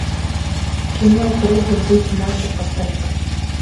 кино трудно быть мачо поставь ка